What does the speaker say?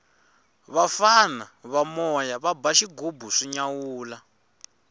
vafana va moya va ba xighubu swi nyawula